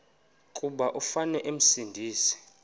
kuba umfana esindise